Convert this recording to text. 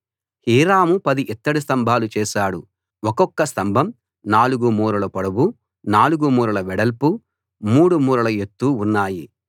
Hiram 10 ఇత్తడి స్తంభాలు చేశాడు ఒక్కొక్క స్తంభం 4 మూరల పొడవు 4 మూరల వెడల్పు 3 మూరల ఎత్తు ఉన్నాయి